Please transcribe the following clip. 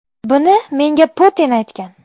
Buni menga Putin aytgan.